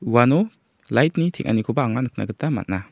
uano lait ni teng·anikoba anga nikna gita man·a.